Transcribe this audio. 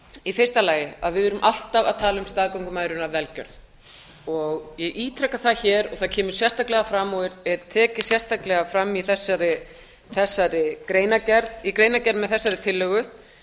í fyrsta lagi að við erum alltaf að tala um staðgöngumæðrun af velgjörð ég ítreka það hér og það kemur sérstaklega fram og er tekið sérstaklega fram í greinargerð með þessari tillögu